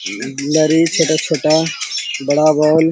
लारी छोटा-छोटा बड़ा बॉल --